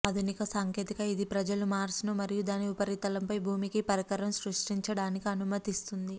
ఆధునిక సాంకేతిక ఇది ప్రజలు మార్స్ ను మరియు దాని ఉపరితలంపై భూమికి పరికరము సృష్టించడానికి అనుమతిస్తుంది